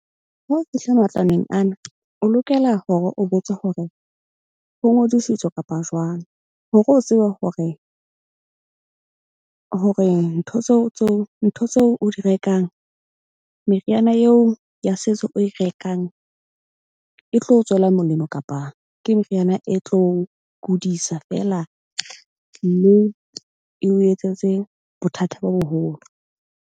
Ha o fihla matlwaneng ana, o lokela hore o botse hore ho ngodisitswe kapa jwang. Hore o tsebe hore ntho tseo ntho tseo o di rekang, meriana eo ya setso o e rekang e tlo tswela molemo kapa ke meriana e tlo kodisa feela, moo eo etsetse bothata bo boholo.